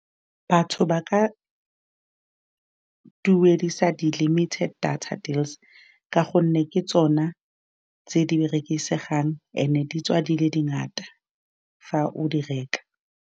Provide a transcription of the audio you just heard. Batho ba ka duedisa di limited data deals, ka gonne ke tsona tse di berekisegang, and-e di tswa di le dingata fa o di reka.